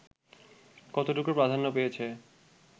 কতটুকু প্রাধান্য পেয়েছে